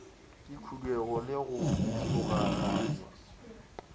le khuduego le go logaganya